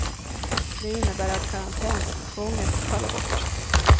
Det innebär att karantänstvånget faller bort.